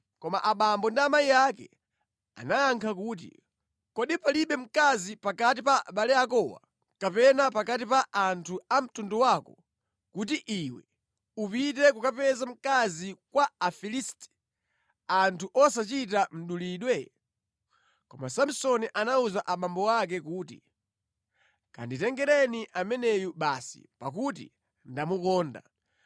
Koma abambo ndi amayi ake anayankha kuti, “Kodi palibe mkazi pakati pa abale akowa kapena pakati pa anthu a mtundu wako, kuti iwe upite kukapeza mkazi kwa Afilisti anthu osachita mdulidwe?” Koma Samsoni anawuza abambo ake kuti, “Kanditengereni ameneyu basi, pakuti ndamukonda.”